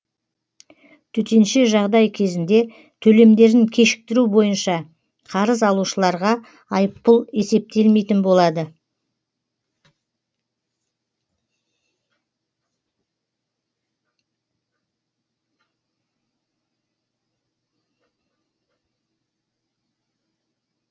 төтенше жағдай кезінде төлемдерін кешіктіру бойынша қарыз алушыларға айыппұл есептелмейтін болады